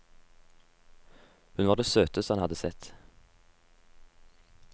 Hun var det søteste han hadde sett.